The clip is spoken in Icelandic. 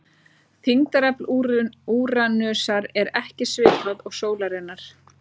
Þyngdarafl Úranusar er ekki svipað og sólarinnar.